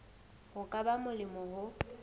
ho ka ba molemo ho